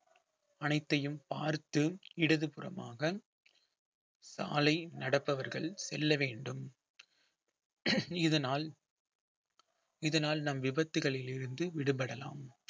அனைத்தையும் பார்த்து இடதுபுறமாக சாலை நடப்பவர்கள் செல்ல வேண்டும் இதனால் இதனால் நம் விபத்துகளில் இருந்து விடுபடலாம்